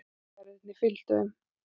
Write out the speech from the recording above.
Verðirnir fylgdu þeim.